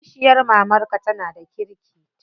Kishiyar mamarka tana da kirki?